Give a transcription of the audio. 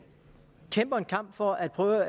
kæmper en kamp for at prøve